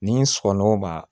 Ni sɔgɔɔnaw b'a